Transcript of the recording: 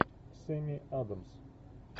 сэмми адамс